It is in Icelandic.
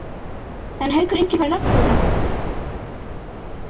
En Haukur Ingi fær nafnbótina.